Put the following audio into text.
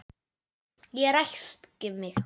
Ég ræskti mig.